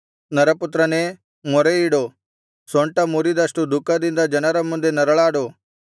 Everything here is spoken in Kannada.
ನರಪುತ್ರನೇ ಮೊರೆಯಿಡು ಸೊಂಟಮುರಿದಷ್ಟು ದುಃಖದಿಂದ ಜನರ ಮುಂದೆ ನರಳಾಡು